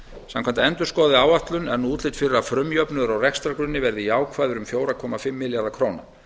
samkvæmt endurskoðaðri áætlun er nú útlit fyrir að frumjöfnuður á rekstrargrunni verði jákvæður um fjóra komma fimm milljarða króna